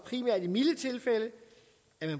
at